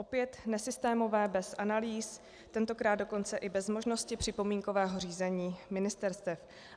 Opět nesystémové, bez analýz, tentokrát dokonce i bez možnosti připomínkového řízení ministerstev.